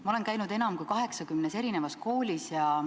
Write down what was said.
Ma olen käinud enam kui 80 koolis.